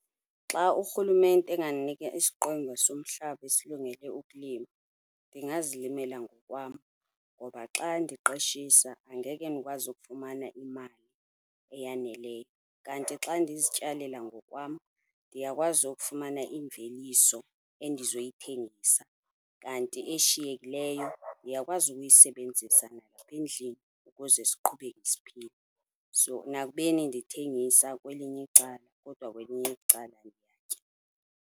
Xa urhulumente engandinika isiqwenga somhlaba esilungele ukulima, ndingazilimela ngokwam ngoba xa ndiqeshisa angeke ndikwazi ukufumana imali eyaneleyo, kanti xa ndizityalela ngokwam ndiyakwazi ukufumana imveliso endizoyithengisa kanti eshiyekileyo ndiyakwazi ukuyisebenzisa endlini ukuze siqhubeke siphila. So, nakubeni ndithengisa kwelinye icala kodwa kwelinye icala ndiyatya.